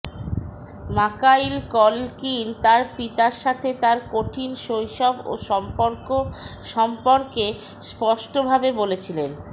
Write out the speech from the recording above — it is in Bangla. মাকাইল কলকিন তার পিতার সাথে তার কঠিন শৈশব ও সম্পর্ক সম্পর্কে স্পষ্টভাবে বলেছিলেন